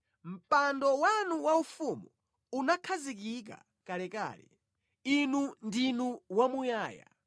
Mpando wanu waufumu unakhazikika kalekale; Inu ndinu wamuyaya.